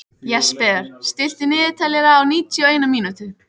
Jesper, stilltu niðurteljara á níutíu og eina mínútur.